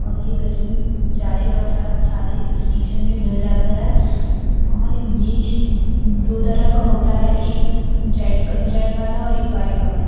और ये गरमी जाड़े बरसात सारे सीजन में मिल जाता है और ये दो तरह का होता है एक जेड रेड वाला और एक व्हाइट वाला।